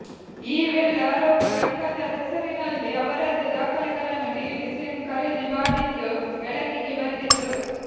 ಈ ವೇಳೆ ಆರೋಪಿ ಗಂಗಾಧರ್ ಹೆಸರಿನಲ್ಲಿ ಅವರದ್ದೆ ದಾಖಲೆಗಳನ್ನು ನೀಡಿ ಸಿಮ್ ಖರೀದಿ ಮಾಡಿದ್ದು ಬೆಳಕಿಗೆ ಬಂದಿತು